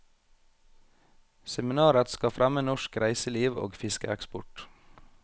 Seminaret skal fremme norsk reiseliv og fiskeeksport.